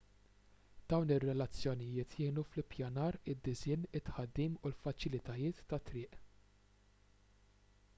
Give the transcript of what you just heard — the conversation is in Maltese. dawn ir-relazzjonijiet jgħinu fl-ippjanar id-disinn u t-tħaddim tal-faċilitajiet tat-triq